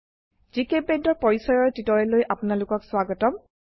জিচেম্পেইণ্ট ৰ পৰিচয়ৰ টিউটোৰিয়েললৈ আপোনােলোকক স্বাগতম